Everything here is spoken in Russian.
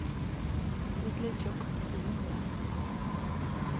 светлячок сезон два